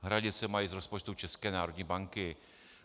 Hradit se mají z rozpočtu České národní banky.